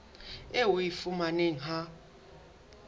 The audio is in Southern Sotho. eo o e fumanang ha